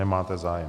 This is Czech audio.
Nemáte zájem.